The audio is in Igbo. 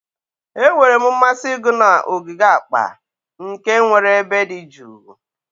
Enwere m mmasị ịgụ na ogige akpa, nke nwere ebe dị jụụ